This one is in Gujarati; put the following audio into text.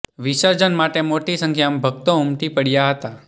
વિસર્જન માટે મોટી સંખ્યામાં ભક્તો ઉમટી પડ્યા હતા